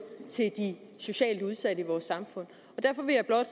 til de socialt udsatte i vores samfund derfor vil jeg blot